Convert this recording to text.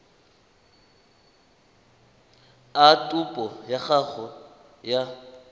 a topo ya gago ya